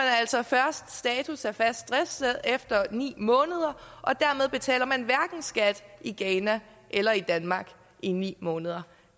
altså først status af fast driftssted efter ni måneder og dermed betaler man hverken skat i ghana eller i danmark i ni måneder